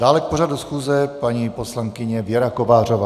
Dále k pořadu schůze paní poslankyně Věra Kovářová.